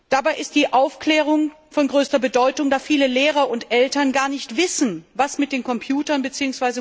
Dabei ist die Aufklärung von größter Bedeutung, da viele Lehrer und Eltern gar nicht wissen, was mit den Computern bzw.